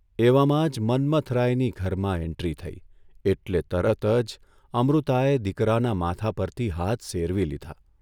એવામાં જ મન્મથરાયની ઘરમાં એન્ટ્રી થઇ એટલે તરત જ અમૃતાએ દીકરાના માથા પરથી હાથ સેરવી લીધા.